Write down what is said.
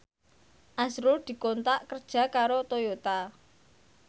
azrul dikontrak kerja karo Toyota